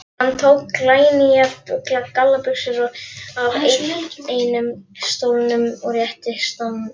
Hann tók glænýjar gallabuxur af einum stólnum og rétti Stjána.